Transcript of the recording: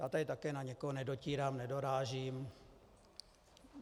Já tady taky na nikoho nedotírám, nedorážím.